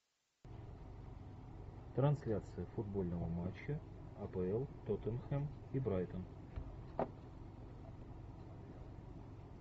трансляция футбольного матча апл тоттенхэм и брайтон